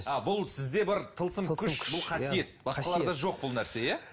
а бұл сізде бар тылсым күш бұл қасиет басқаларда жоқ бұл нәрсе иә